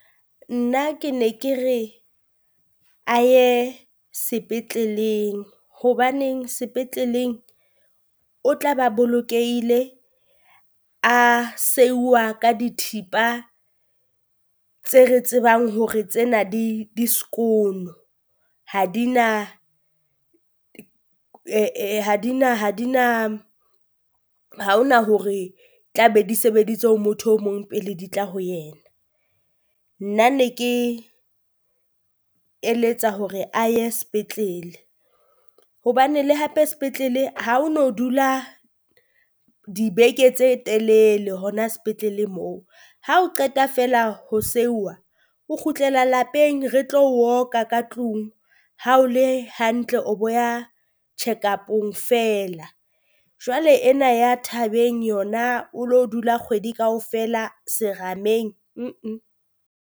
Nna ke ne ke re a ye sepetleleng hobaneng sepetleleng o tla ba bolokehile, a seihwa ka dithipa tse re tsebang hore tsena di di skoon-o ha di na ha di na ha di na ha ho na hore tla be di sebeditse ho motho o mong pele di tla ho yena. Nna ne ke eletsa hore a ye sepetlele, hobane le hape sepetlele ha o no dula dibeke tse telele hona sepetlele moo. Ha o qeta feela ho seuwa o kgutlela lapeng, re tlo o oka ka tlung, ha o le hantle o bo ya checkup-ong feela. Jwale ena ya thabeng yona o lo dula kgwedi kaofela serameng